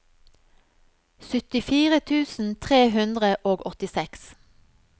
syttifire tusen tre hundre og åttiseks